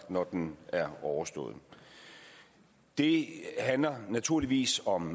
når den er overstået det handler naturligvis om